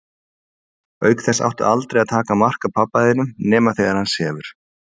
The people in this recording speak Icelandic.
Auk þess áttu aldrei að taka mark á pabba þínum nema þegar hann sefur.